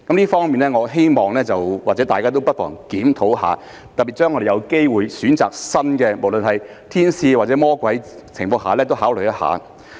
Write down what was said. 這方面希望大家都不妨檢討一下；特別是我們有機會選擇新的，無論是"天使"或"魔鬼"，在這情況下也應考慮一下。